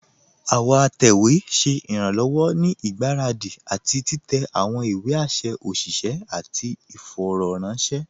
Àwọn àtẹwé ṣẹ̀ iranlọ́wọ̀ ní igbáradi àti titẹ̀ àwọn ìwé àṣẹ̀ òṣìṣẹ̀ àti ìfọ̀rọ̀ranṣẹ̀.